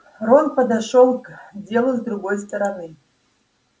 рон подошёл к делу с другой стороны